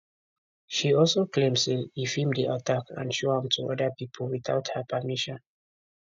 she also claim say e feem di attack and show am to oda pipo witout her permission